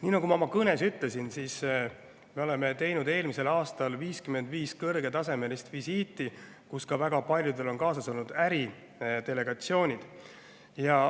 Nii, nagu ma oma kõnes ütlesin, me tegime eelmisel aastal 55 kõrgetasemelist visiiti ja väga paljudel oli kaasas ka äridelegatsioon.